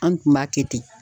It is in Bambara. An kun b'a kɛ ten.